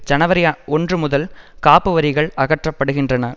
ஜனவரி ஒன்று முதல் காப்பு வரிகள் அகற்றப்படுகின்றன